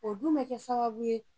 O dun bɛ kɛ sababu ye